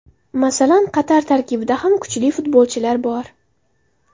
Masalan Qatar tarkibida ham kuchli futbolchilar bor.